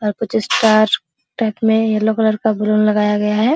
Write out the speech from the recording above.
और कुछ star side में येलो कलर का बैलून लगाया गया है।